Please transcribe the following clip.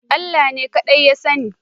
Allah ne kaɗai ya sani